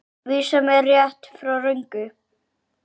Vísar mér rétt, frá röngu.